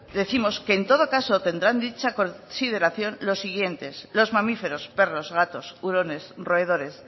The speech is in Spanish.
décimos que en todo caso tendrá dicha consideración los siguiente los mamíferos perros gatos hurones roedores